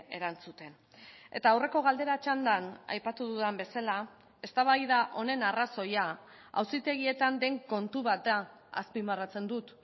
erantzuten eta aurreko galdera txandan aipatu dudan bezala eztabaida honen arrazoia auzitegietan den kontu bat da azpimarratzen dut